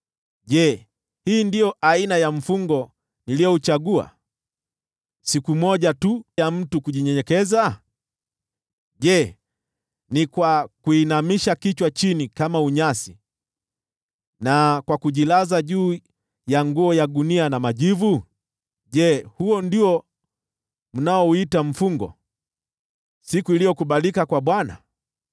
Je, hii ndiyo aina ya mfungo niliouchagua, siku moja tu ya mtu kujinyenyekeza? Je, ni kwa kuinamisha kichwa chini kama tete, na kwa kujilaza juu ya nguo ya gunia na majivu? Je, huo ndio mnaouita mfungo, siku iliyokubalika kwa Bwana ?